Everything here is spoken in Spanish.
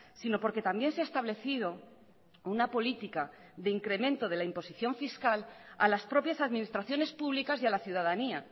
sino porque también se ha establecido una política de incremento de la imposición fiscal a las propias administraciones públicas y a la ciudadanía